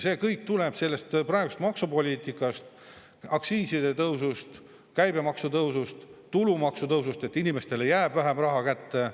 See kõik tuleneb sellest praegusest maksupoliitikast, aktsiiside tõusust, käibemaksu tõusust, tulumaksu tõusust, et inimestele jääb vähem raha kätte.